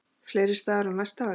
Fleiri staðir á næsta ári?